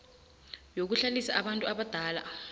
yokuhlalisa abantu abadala